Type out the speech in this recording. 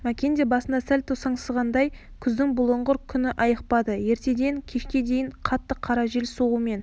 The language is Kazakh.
мәкен де басында сәл тосаңсығандай күздің бұлыңғыр күні айықпады ертеден кешке дейін қатты қара жел соғумен